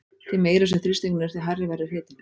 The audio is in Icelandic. Því meiri sem þrýstingurinn er því hærri verður hitinn.